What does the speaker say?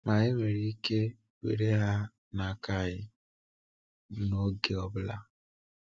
Ma enwere ike were ha n’aka anyị n’oge ọ bụla.